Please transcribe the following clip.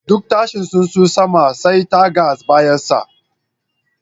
Duk tashin tsunsu, sama sai ta ga bayanshi.